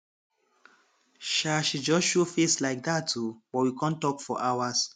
um she just show face like dat um but we com talk for hours